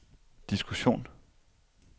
diskussion